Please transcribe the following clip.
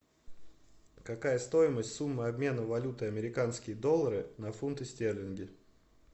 какая стоимость суммы обмена валюты американские доллары на фунты стерлинги